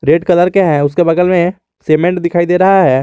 Red colour के है उसके बगल में सीमेंट दिखाई दे रहा है।